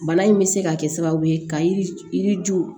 Bana in bɛ se ka kɛ sababu ye ka yiri ju